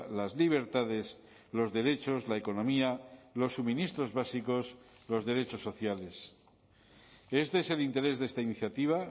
las libertades los derechos la economía los suministros básicos los derechos sociales este es el interés de esta iniciativa